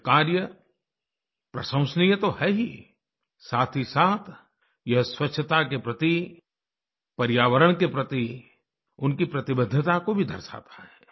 यह कार्य प्रशंसनीय तो है ही साथहीसाथ यह स्वच्छता के प्रति पर्यावरण के प्रति उनकी प्रतिबद्धता को भी दर्शाता है